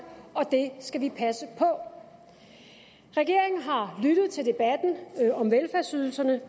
og det skal vi passe på regeringen har lyttet til debatten om velfærdsydelserne